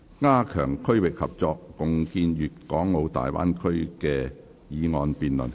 "加強區域合作，共建粵港澳大灣區"的議案辯論。